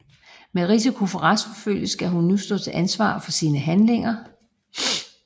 Med risiko for retsforfølgelse skal hun nu stå til ansvar for sine handlinger